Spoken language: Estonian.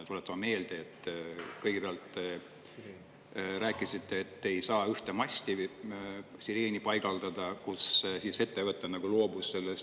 Tuletame meelde, et kõigepealt rääkisite, et ei saa ühte masti sireeni paigaldada, kus ettevõte loobus sellest.